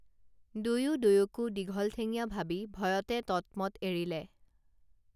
দুয়ো দুয়োকো দীঘল ঠেঙীয়া ভাবি ভয়তে ততমত এৰিলে